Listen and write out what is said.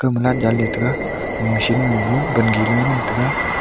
jali taiga machine ma gage wangi loe ngan taiga.